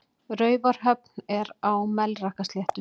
Raufarhöfn er á Melrakkasléttu.